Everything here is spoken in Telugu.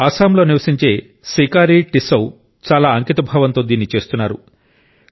అస్సాంలో నివసించే సికారి టిస్సౌ చాలా అంకితభావంతో దీన్ని చేస్తున్నారు